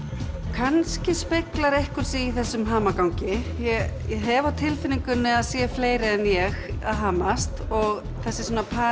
kannski speglar einhver sig í þessum hamagangi ég hef á tilfinningunni að það séu fleiri en ég að hamast og þessi